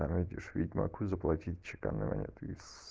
родишь ведьмаку заплатить чеканной монетой с